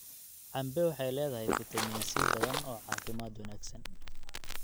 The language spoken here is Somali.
Cambe waxay leedahay fiitamiin C badan oo caafimaad wanaagsan.